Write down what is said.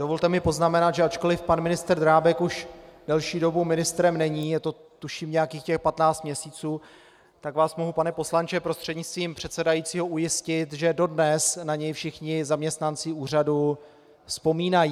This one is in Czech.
Dovolte mi poznamenat, že ačkoliv pan ministr Drábek už delší dobu ministrem není, je to tuším nějakých těch 15 měsíců, tak vás mohu, pane poslanče prostřednictvím předsedajícího, ujistit, že dodnes na něj všichni zaměstnanci úřadu vzpomínají.